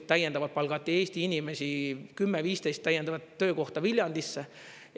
Täiendavalt palgati Eesti inimesi 10–15 täiendavat töökohta Viljandisse.